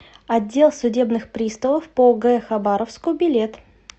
отдел судебных приставов по г хабаровску билет